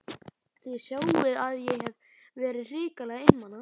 Þið sjáið að ég hef verið hrikalega einmana!